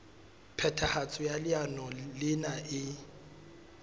phethahatso ya leano lena e